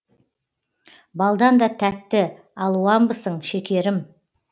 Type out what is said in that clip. балдан да тәтті алуамбысың шекерім